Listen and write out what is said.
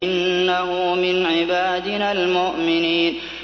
إِنَّهُ مِنْ عِبَادِنَا الْمُؤْمِنِينَ